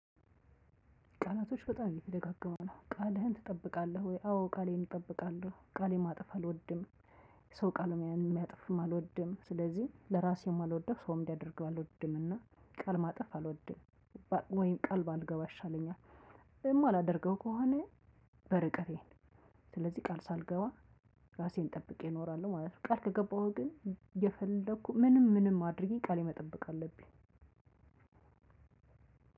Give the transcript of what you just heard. ቃላቶች በጣም እየተደጋገሙ ነው ቃልህን ትጠብቃለህ? ወይ አዎ ቃሌን እጠብቃለሁ ቃሌን ማጠፍ አልወድም። ሰው ቃሉን የሚያጥፍም አልወድም ስለዚህ ለራሴ የማልወደው ሰውም እንዲያደርገው አልወድምና ቃል ማጠፍ አልወድም። ወይም ቃል ባልገባ ይሻለኛል። የማላደርገው ከሆነ በርቀቴ ስለዚህ ቃል ሳልገባ ራሴን ጠብቄ እኖራለሁ ማለት ነው። ቃል ከገባሁ ግን የፈለኩ ምንም ምንም አድርጌ ቃሌ መጠበቅ አለብኝ።